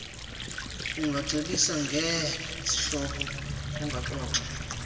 ungacebisa ngeezihloko ungaxoxa